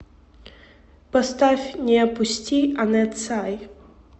поставь не опусти анет сай